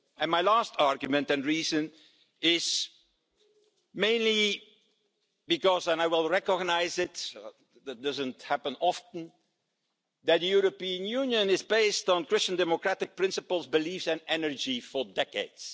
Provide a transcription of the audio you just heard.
My last argument and reason is mainly because, and I will recognise it that doesn't happen often that the European Union has been based on Christian democratic principles, beliefs and energy for decades.